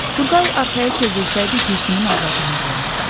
Turqay arxaya çevrilsəydi, Gülsümün ağladığını görərdi.